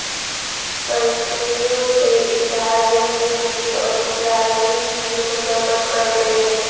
فلسطینیوں سے اظہار یکجہتی اور اسرائیل کی مذمت کرتے ہیں